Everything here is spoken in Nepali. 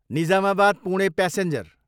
निजामाबाद, पुणे प्यासेन्जर